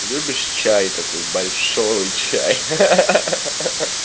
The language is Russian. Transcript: любишь чай такой большой чай хи-хи